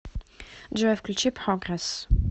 джой включи прогресс